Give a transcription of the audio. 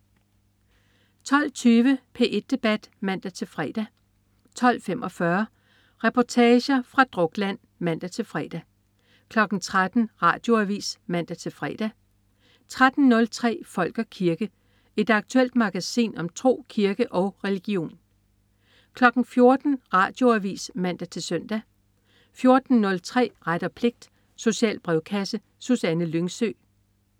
12.20 P1 debat (man-fre) 12.45 Reportager fra Drukland (man-fre) 13.00 Radioavis (man-fre) 13.03 Folk og kirke. Et aktuelt magasin om tro, kirke og religion 14.00 Radioavis (man-søn) 14.03 Ret og pligt. Social brevkasse. Susanne Lyngsø